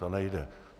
To nejde.